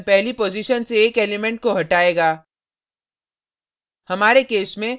shift function पहली position से एक एलिमेंट को हटायेगा